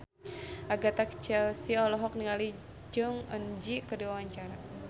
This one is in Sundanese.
Agatha Chelsea olohok ningali Jong Eun Ji keur diwawancara